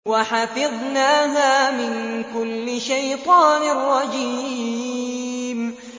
وَحَفِظْنَاهَا مِن كُلِّ شَيْطَانٍ رَّجِيمٍ